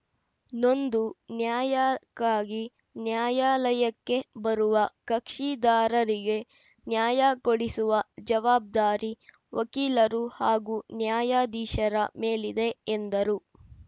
ನೊಂದು ನ್ಯಾಯಕ್ಕಾಗಿ ನ್ಯಾಯಾಲಯಕ್ಕೆ ಬರುವ ಕಕ್ಷಿದಾರರಿಗೆ ನ್ಯಾಯ ಕೊಡಿಸುವ ಜವಾಬ್ದಾರಿ ವಕೀಲರು ಹಾಗೂ ನ್ಯಾಯಾಧೀಶರ ಮೇಲಿದೆ ಎಂದರು